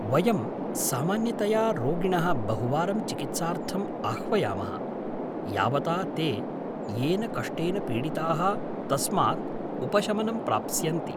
वयं सामान्यतया रोगिणः बहुवारं चिकित्सार्थम् आह्वयामः, यावता ते येन कष्टेन पीडिताः तस्मात् उपशमनं प्राप्स्यन्ति।